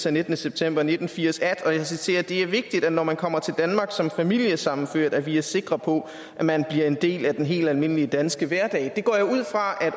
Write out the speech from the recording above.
af nittende september nitten firs at og jeg citerer det er vigtigt når man kommer til danmark som familiesammenført at vi er sikre på at man bliver del af den helt almindelige danske hverdag det går jeg ud fra at